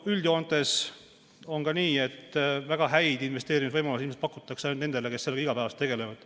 Üldjoontes on aga nii, et väga häid investeerimisvõimalusi pakutakse nendele, kes sellega igapäevaselt tegelevad.